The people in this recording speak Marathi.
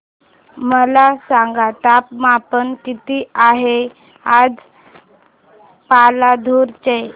मला सांगा तापमान किती आहे आज पालांदूर चे